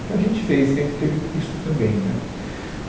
Então a gente fez, então teve isto também né.